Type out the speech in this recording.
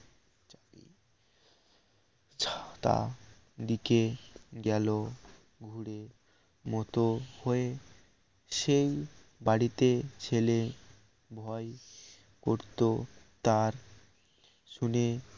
তা দিকে গেলো ঘুরে মত হয়ে সেই বাড়িতে ছেলে ভয় করত তার শুনে